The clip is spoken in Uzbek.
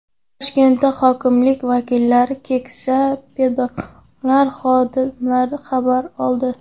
Toshkentda hokimlik vakillari keksa pedagoglar holidan xabar oldi.